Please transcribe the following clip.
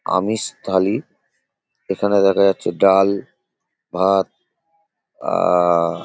আমিষ থালি। এখানে দেখা যাচ্ছে ডাল ভাত আহ --